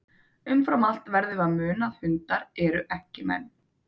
Umfram allt verðum við að muna að hundar eru ekki menn.